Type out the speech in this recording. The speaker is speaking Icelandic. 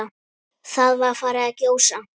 Það var farið að gjósa.